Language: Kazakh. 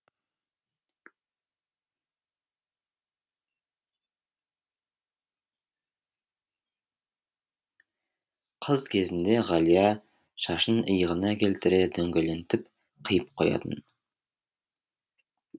қыз кезінде ғалия шашын иығына келтіре дөңгелентіп қиып қоятын